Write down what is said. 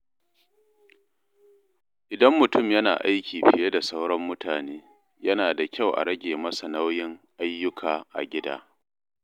Idan mutum yana aiki fiye da sauran mutane, yana da kyau a rage masa nauyin ayyuka a gida.